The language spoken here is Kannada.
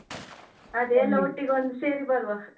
ಅದೇ ಎಲ್ಲ ಒಟ್ಟಿಗೆ ಒಂದ್ ಸೇರಿ ಬರುವ.